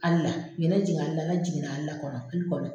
Hali na ɲinɛ jiginna a la ne jiginna hali n kɔnɔ ku kɔnɔ